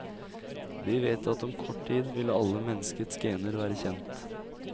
Vi vet at om kort tid vil alle menneskets gener være kjent.